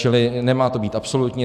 Čili nemá to být absolutní.